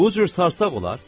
Bu cür sarsaq olar?